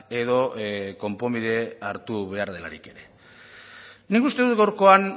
edo konponbide hartu behar delarik ere nik uste dut gaurkoan